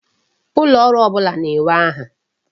Ulooru ọbụla na-enwe aha.